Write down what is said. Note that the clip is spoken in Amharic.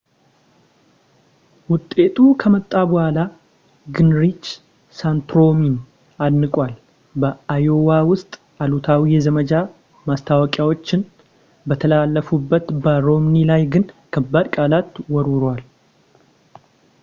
ውጤቱ ከመጣ በኋላ ጊንሪች ሳንቶረምን አድንቀዋል ፣ በአዮዋ ውስጥ አሉታዊ የዘመቻ ማስታወቂያዎች በተላለፉበት በሮምኒ ላይ ግን ከባድ ቃላት ወርውረዋል